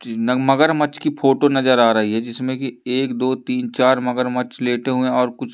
नग मगरमच्छ की फोटो नजर आ रही है जिसमें की एक दो तीन चार मगरमच्छ लेटे हुएं है और कुछ --